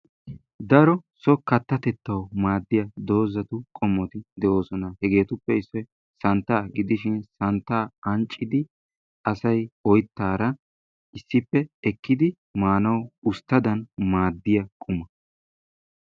Daro so kaattatetawu maaddiya doozattu qomotti de'ossona. Hegettuppe issoy santta gidishin santtay anccidi asay oyttara issipe ekiddi maanawu ustaddan maadiyaa qumma.